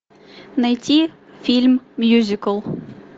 найти фильм мюзикл